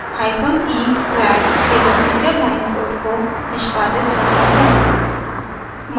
hyphen e flag केवल single line code को निष्पादित करता है